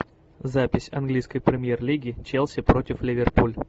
запись английской премьер лиги челси против ливерпуль